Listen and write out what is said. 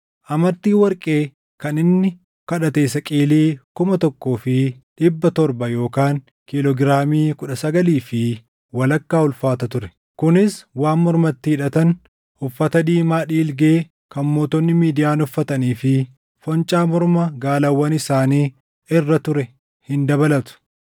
Amartiin warqee kan inni kadhate saqilii kuma tokkoo fi dhibba torba yookaan kiiloo giraamii kudha sagalii fi walakkaa ulfaata ture; kunis waan mormatti hidhatan, uffata diimaa dhiilgee kan mootonni Midiyaan uffatanii fi foncaa morma gaalawwan isaanii irra ture hin dabalatu.